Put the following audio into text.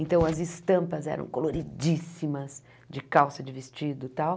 Então, as estampas eram coloridíssimas, de calça, de vestido tal.